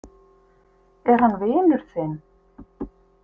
Er hann vinur þinn?